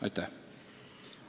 Aitäh!